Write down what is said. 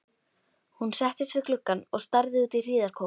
Hún settist við gluggann og starði út í hríðarkófið.